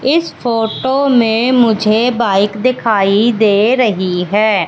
इस फोटो में मुझे बाइक दिखाई दे रही है।